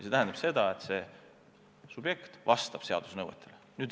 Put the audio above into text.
See tähendab seda, et konkreetne subjekt vastab seaduse nõuetele.